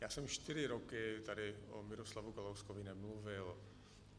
Já jsem čtyři roky tady o Miroslavu Kalouskovi nemluvil.